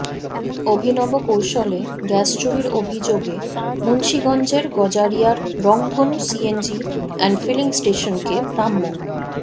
অভিনব কৌশলে গ্যাস চুরির অভিযোগে মুন্সিগঞ্জের গজারিয়ার রংধনু সিএনজি অ্যান্ড ফিলিং স্টেশনকে ভ্রাম্য